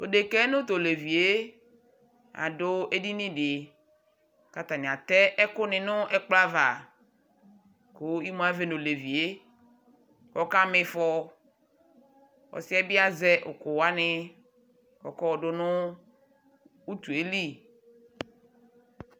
Tu deka yɛ nu tu olevi yɛ adu edini di ku atani atɛ ɛkuni nu ɛkplɔ ava Ku imu avɛ nu olevi yɛ Ɔkama ifɔ Ɔsi yɛ bi azɛ ukuwani ɔkɔ yɔdu nu utu yɛ li